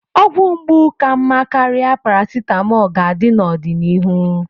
Ọgwụ mgbu ka mma karịa paracetamol ga-adị n'ọdịnihu.